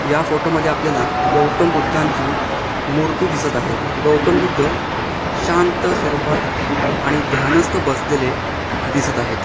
या फोटो मध्ये आपल्याला गौतमबुद्धांची मूर्ति दिसत आहे. गौतमबुद्ध शांत स्वरुपात आणि ध्यानस्थ बसलेले दिसत आहेत.